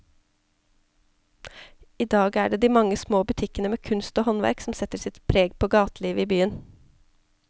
I dag er det de mange små butikkene med kunst og håndverk som setter sitt preg på gatelivet i byen.